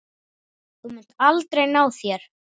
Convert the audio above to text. Þú munt aldrei ná þér.